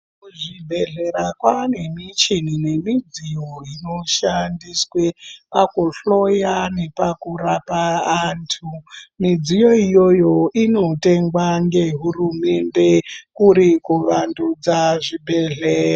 Kuzvibhedhlera kwaane michini nemidziyo inoshandiswe pakuhloya nepakurapa antu. Midziyo iyoyo inotengwa ngehurumende, kuri kuvandudza zvibhedhlera.